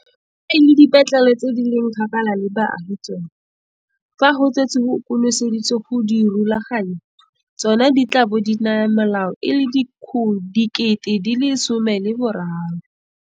Fa e le dipetlele tse di leng kgakala le baagi tsone, fa go setse go kono seditse go di rulaganya, tsona di tla bo di na le malao a le 13 000.